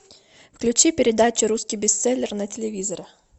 включи передачу русский бестселлер на телевизоре